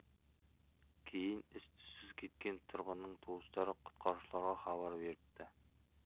кейін із түссіз кеткен тұрғынның туыстары құтқарушыларға хабар беріпті